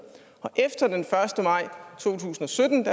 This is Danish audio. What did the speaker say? og efter den første maj to tusind og sytten